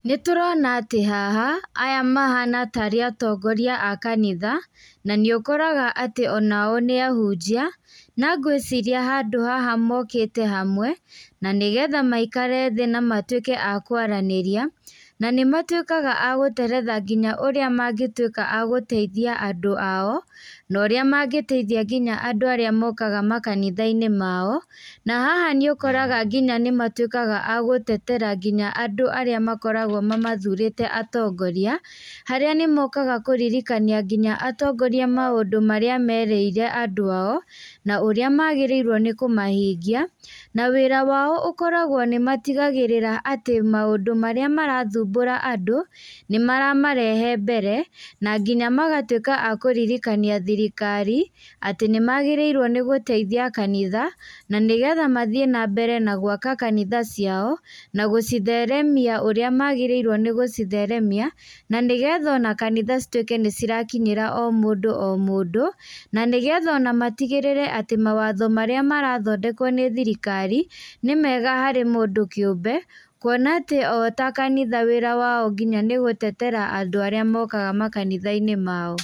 Nĩtũrona atĩ haha, aya mahana tarĩ atongoria a kanitha, nanĩũkoraga atĩ onao nĩ ahunjia, na ngwĩciria handũ haha mokĩte hamwe, nanĩgetha maikare thĩ na matwĩke akwaranĩria, nanĩmatwĩkaga a gũteretha nginya ũrĩa mangĩtwĩka a gũteithia andũ ao, norĩa mangĩteithia nginya andũ arĩa mokaga makanitha-inĩ mao, na haha nĩũkoraga nginya nĩmatwĩkaga a gũtetera nginya andũ arĩa makoragwo mathurĩte atongoria, harĩa nĩmokaga kũririkania nginya atongoria maũndũ marĩa merĩire andũ ao, na ũrĩa magĩrĩirwo nĩkũmahingia, na wĩra wao ũkoragwo nĩmatigagĩrĩra atĩ maúndũ marĩa marathumbũra andũ, nĩmaramarehe mbere, na nginya magatwĩka a kũririkania thirikari, atĩ nĩmagĩrĩirwo nĩgũteithia kanitha, nanĩgetha mthiĩ nambere na gwaka kanitha ciao, na gũcitheremia ũrĩa magĩrĩirwo nĩ gũcitheremia, na nĩgetha kanitha citwĩke nĩcirakinyĩra o mũndũ o mũndũ, na nĩgeth aona matigĩrĩre atĩ, mawatho marĩa marathondekwo nĩ thirikari, nĩ mega harĩ mũndũ kĩũmbe, kuona atĩ o ta kanitha wĩra wao nginya nĩ gũtetera andũ arĩa mokaga makanitha-inĩ mao.